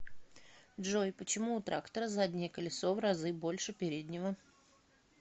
джой почему у трактора заднее колесо в разы больше переднего